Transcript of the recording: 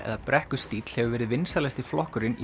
eða brekkustíll hefur verið vinsælasti flokkurinn í